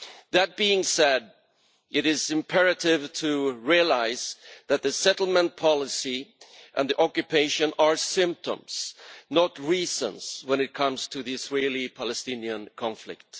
That being said, it is imperative to realise that the settlement policy and the occupation are symptoms, not reasons, when it comes to the Israeli-Palestinian conflict.